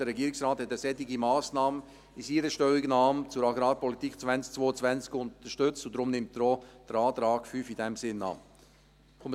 Der Regierungsrat hat eine solche Massnahme in seiner Stellungnahme zur Agrarpolitik 2022 unterstützt, und deshalb nimmt er den Antrag 5 in diesem Sinn auch an.